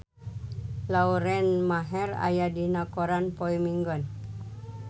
Lauren Maher aya dina koran poe Minggon